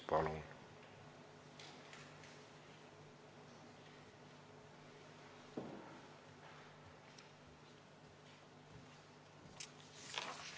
Palun!